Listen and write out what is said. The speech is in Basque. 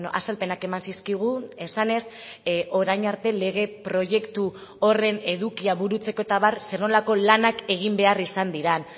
azalpenak eman zizkigun esanez orain arte lege proiektu horren edukia burutzeko eta abar zer nolako lanak egin behar izan diren